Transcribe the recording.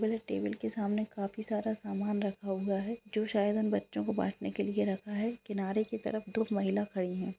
मेरे टेबल के सामने काफी सारा सामान रखा हुआ है जो शायद उन बच्चों को बांटने के लिए रखा है किनारे की तरफ दो महिला खड़ी है।